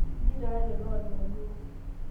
ijoito aa toloo iljaluu?